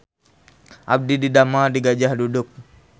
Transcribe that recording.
Abdi didamel di Gajah Duduk